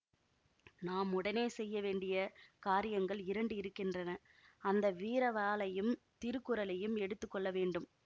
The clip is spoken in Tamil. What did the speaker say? நாம் உடனே செய்ய வேண்டிய காரியங்கள் இரண்டு இருக்கின்றன அந்த வீர வாளையும் திருக்குறளையும் எடுத்து கொள்ள வேண்டும்